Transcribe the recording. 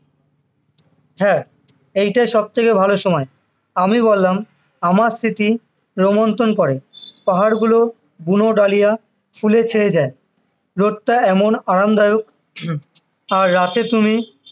হ্যাঁ এইটাই সবথেকে ভালো সময় আমি বললাম আমার স্মৃতি ক্রমন্তন করে পাহাড় গুলো বুনো ডালিয়া ফুলে ছেয়ে যায় রোদটা এমন আরামদায়ক আর রাতে তুমি